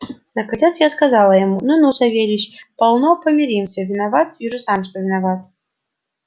наконец я сказал ему ну ну савельич полно помиримся виноват вижу сам что виноват